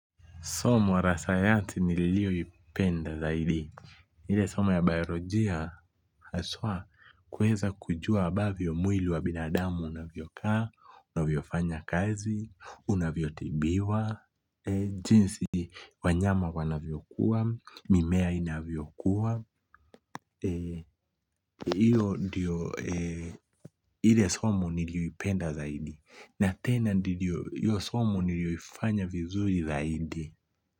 Somo la sayati nilio ipenda zaidi. Ile somo ya biolojia haswa kuweza kujua ambavyo mwili wa binadamu unavyo kaa, unavyo fanya kazi, unavyo tibiwa, jinsi wanyama wanavyo kuwa, mimea inavyo kuwa. Ile somo nilio ipenda zaidi. Napenda ndivyo iyo somo niliofanya vizuri zaidi.